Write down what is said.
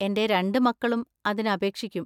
എന്‍റെ രണ്ട് മക്കളും അതിന് അപേക്ഷിക്കും.